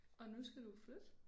Og nu skal du flytte